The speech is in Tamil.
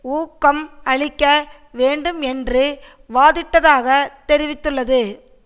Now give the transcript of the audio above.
ஊக்கம் அளிக்க வேண்டும் என்று வாதிட்டதாக தெரிவித்துள்ளது